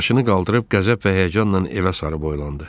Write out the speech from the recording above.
Başını qaldırıb qəzəb və həyəcanla evə sarı boylandı.